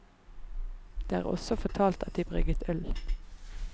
Det er også fortalt at de brygget øl.